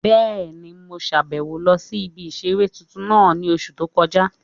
Bẹ́ẹ̀ni, mo sàbẹ̀wo lọ sí ibi ìseré tuntun náà ní oṣù tó kọjá